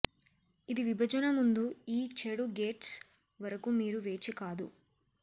ఇది విభజన ముందు ఈ చెడు గెట్స్ వరకు మీరు వేచి కాదు